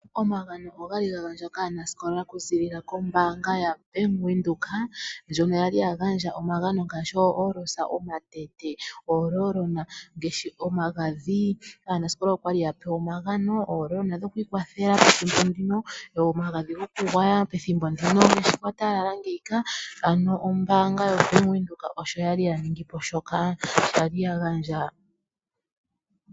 Omagano ogali ga gandwa kaanasikola okuziilila kombaanga yaBank Windhoek, ndjono ya li ya gandja omagano ngaashi oohoolosa, omatete nomagadhi. Aanasikola oya li ya pewa omagano mwa kwatela omagadhi gomoonkwapa, omagadhi gokugwaya pethimbo ndika ngaashi kwa talala. Ombaanga yaBAnk Windhoek osho ya li ya ningi po shoka.